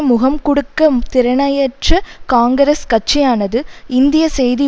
முகம்கொடுக்க திரணையற்ற காங்கிரஸ் கட்சியானது இந்திய செய்தி